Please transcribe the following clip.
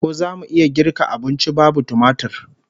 Ko zamu iya girka abunci babu tumatir?